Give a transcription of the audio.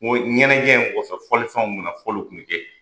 ɲɛnajɛ in kɔfɛ fɔlifɛnw bɛ na fɔliw tun bɛ kɛ